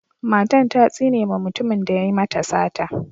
Matan ta tsine ma mutumin da ya yi mata sata.